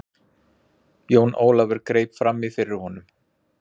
Jón Ólafur greip framí fyrir honum.